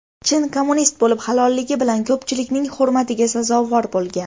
Chin kommunist bo‘lib, halolligi bilan ko‘pchilikning hurmatiga sazovor bo‘lgan.